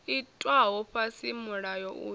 itwaho fhasi ha mulayo uyu